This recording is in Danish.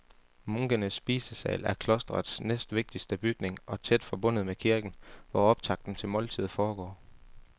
Munkenes spisesal er klostrets næstvigtigste bygning og tæt forbundet med kirken, hvor optakten til måltidet foregår.